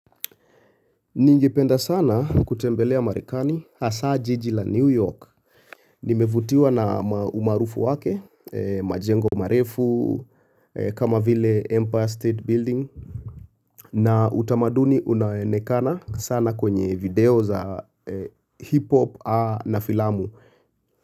Ningependa sana kutembelea marekani hasa jiji la New York. Nimevutiwa na umaarufu wake, majengo marefu, kama vile Empire State Building. Na utamaduni unao onekana sana kwenye video za hip-hop na filamu.